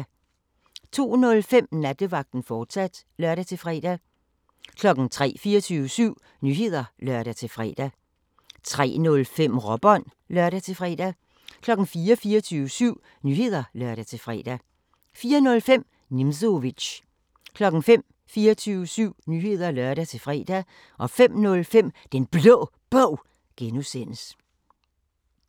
02:05: Nattevagten, fortsat (lør-fre) 03:00: 24syv Nyheder (lør-fre) 03:05: Råbånd (lør-fre) 04:00: 24syv Nyheder (lør-fre) 04:05: Nimzowitsch 05:00: 24syv Nyheder (lør-fre) 05:05: Den Blå Bog (G)